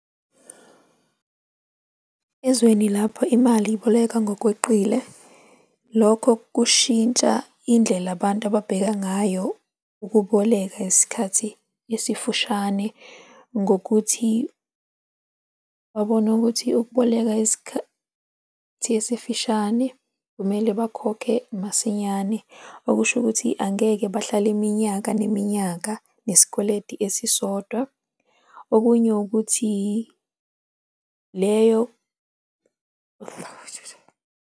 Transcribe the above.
Ezweni lapho imali iboleka ngokweqile, lokho kushintsha indlela abantu ababheka ngayo ukuboleka isikhathi esifushane ngokuthi babone ukuthi ukuboleka isikhathi esifishane kumele bakhokhe masinyane okusho ukuthi angeke bahlale iminyaka neminyaka nesikweleti esisodwa. Okunye ukuthi, leyo .